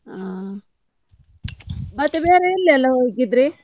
ಹಾ, ಮತ್ತೆ ಬೇರೆ ಎಲ್ಲಿ ಎಲ್ಲ ಹೋಗಿದ್ರೀ?